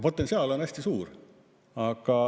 Potentsiaal on hästi suur.